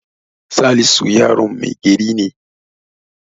Salisu yaron mai gari ne.